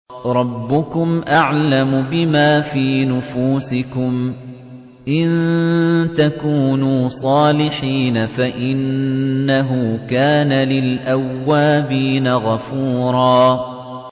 رَّبُّكُمْ أَعْلَمُ بِمَا فِي نُفُوسِكُمْ ۚ إِن تَكُونُوا صَالِحِينَ فَإِنَّهُ كَانَ لِلْأَوَّابِينَ غَفُورًا